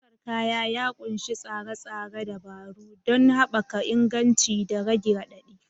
Ɗaukar kaya ya ƙunshi tsare-tsare dabaru don haɓaka inganci da rage haɗari.